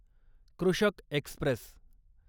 कृषक एक्स्प्रेस